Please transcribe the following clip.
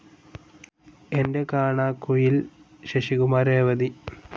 എൻ്റെ കാണാക്കുയിൽ ശശികുമാർ രേവതി